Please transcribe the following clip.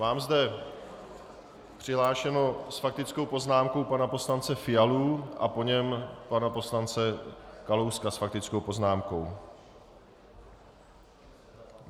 Mám zde přihlášeného s faktickou poznámkou pana poslance Fialu a po něm pana poslance Kalouska s faktickou poznámkou.